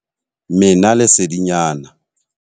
Mena lesedinyana.